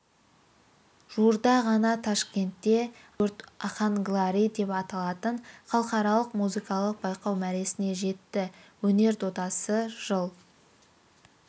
жуырда ғана тәшкенде она юрт оханглари деп аталатын халықаралық музыкалық байқау мәресіне жетті өнер додасы жыл